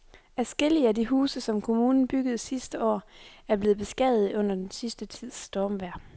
Adskillige af de huse, som kommunen byggede sidste år, er blevet beskadiget under den sidste tids stormvejr.